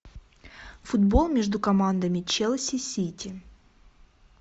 футбол между командами челси сити